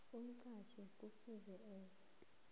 umqatjhi kufuze enze